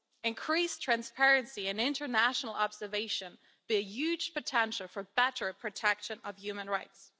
Increased transparency and international observation bear huge potential for better protection of human rights.